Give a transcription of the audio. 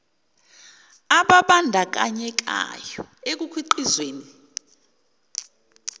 ababan dakanyekayo ekukhiqizweni